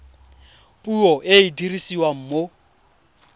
puo e e dirisiwang mo